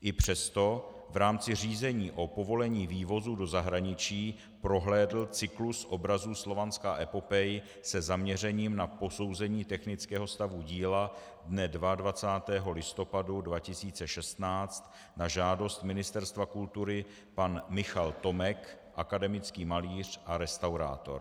I přesto v rámci řízení o povolení vývozu do zahraničí prohlédl cyklus obrazů Slovanská epopej se zaměřením na posouzení technického stavu díla dne 22. listopadu 2016 na žádost Ministerstva kultury pan Michal Tomek, akademický malíř a restaurátor.